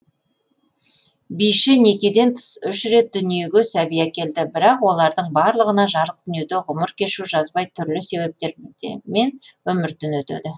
биші некеден тыс үш рет дүниеге сәби әкелді бірақ олардың барлығына жарық дүниеде ғұмыр кешу жазбай түрлі себептермен өмірден өтеді